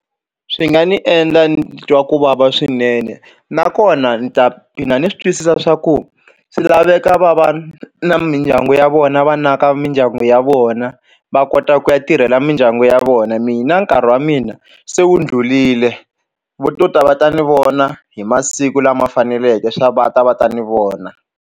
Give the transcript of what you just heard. Swi nga ni endla ni twa ku vava swinene nakona ni ta gina ni swi twisisa swa ku swi laveka va va na mindyangu ya vona va naka mindyangu ya vona na va kota ku ya tirhela mindyangu ya vona mina nkarhi wa mina se wu dlulile vo to ta va ta ni vona hi masiku lama faneleke va ta va ta ni vona.